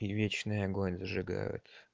и вечный огонь зажигают